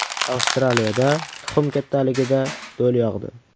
Avstraliyada tuxum kattaligida do‘l yog‘di .